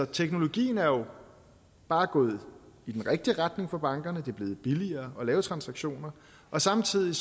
teknologien er jo bare gået i den rigtige retning for bankerne det er blevet billigere at lave transaktionerne og samtidig